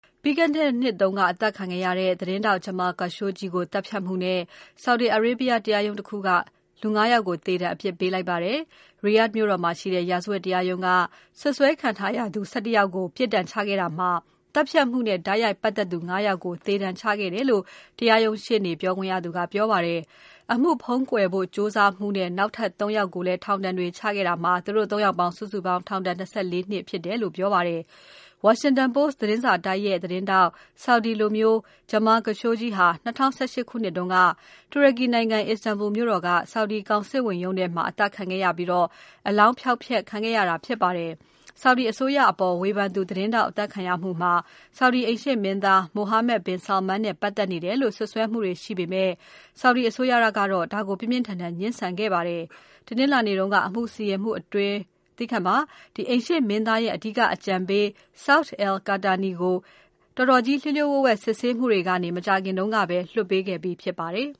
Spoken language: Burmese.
ပြီးခဲ့တဲ့နှစ်က အသတ်ခံခဲ့ရတဲ့ သတင်းထောက် Jamal Khashoggi ကို သတ်ဖြတ်မှုနဲ့ Saudi Arabia တရားရုံး တခုက လူ ၅ ယောက်ကို သေဒဏ် အပြစ်ပေးလိုက်ပါတယ်။ Riyadh မြို့တော်မှာရှိတဲ့ ရာဇဝတ်တရားရုံးက စွပ်စွဲခံရသူ ၁၁ ယောက်ကို ပြစ်ဒဏ်ချခဲ့တာမှာ သတ်ဖြတ်မှုကို တိုက်ရိုက်ပါတ်သက်သူ ၅ ယောက်ကို သေဒဏ်ချခဲ့တယ်လို့ တရားရုံးရှေ့နေ ပြောခွင့်ရသူက ပြောပါတယ်။ အမှုဖုံးကွယ်ဖို့ ကြိုးစားမှုနဲ့ နောက်ထပ် ၃ ယောက်ကိုလည်း ထောင်ဒဏ်တွေ ချခဲ့တာမှာ စုစုပေါင်း ထောင်ဒဏ် ၂၄ နှစ် ချခဲ့တယ်လို့ ပြောပါတယ်။ Washington Post သတင်းစာတိုက်ရဲ့ သတင်းထောက် Saudi လူမျိုး Jamal Khashoggi ဟာ ၂၀၁၈ ခုနှစ်တုန်းက တူရကီနိုင်ငံ Istanbul မြို့တော်က Saudi ကောင်စစ်ရုံးထဲမှာ အသတ်ခံရပြီး အလောင်းဖျောက်ဖျက်ခံရတာ ဖြစ်ပါတယ်။ Saudi အစိုးရအပေါ် ဝေဖန်သူ သတင်းထောက် အသတ်ခံရမှုမှာ Saudi အိမ်ရှေ့မင်းသား Mohammed bin Salman နဲ့ ပတ်သက်နေတယ်လို့ စွပ်စွဲမှုတွေရှိခဲ့ပေမဲ့ Saudi အစိုးရကတော့ ဒါကို ပြင်းပြင်းထန်ထန် ငြင်းဆန်ခဲ့ပါတယ်။ အိမ်ရှေ့မင်းသားရဲ့အဓိက အကြံပေး Saud al-Qahtani ကို အတော်ကြီး လျှို့လျှို့ဝှက်ဝှက် စစ်ဆေးမှုတွေကနေ မကြာခင်တုန်းကပဲ လွှတ်ပေးခဲ့ပြီး ဖြစ်ပါတယ်